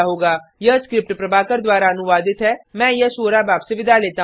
यह स्क्रिप्ट प्रभाकर द्वारा अनुवादित है मैं यश वोरा अब आपसे विदा लेता हूँ